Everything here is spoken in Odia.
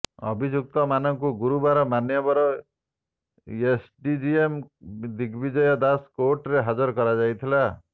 ଅଭିଯୁକ୍ତ ମାନଙ୍କୁ ଗୁରୁବାର ମାନ୍ୟବର ଏସ୍ଡିଜେଏମ୍ ଦିଗବିଜୟ ଦାସଙ୍କ କୋର୍ଟରେ ହାଜର କରାଯାଇଥିଲା